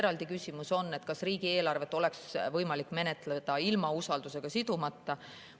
Eraldi küsimus on, kas riigieelarvet oleks võimalik menetleda ilma usaldus sidumata.